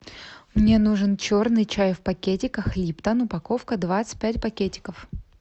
мне нужен черный чай в пакетиках липтон упаковка двадцать пять пакетиков